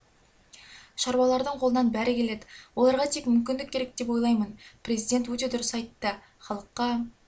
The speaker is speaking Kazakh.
шаруалардың қолынан бәрі келеді оларға тек мүмкіндік керек деп ойлаймын президент өте дұрыс айтты халыққа